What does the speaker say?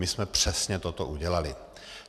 My jsme přesně toto udělali.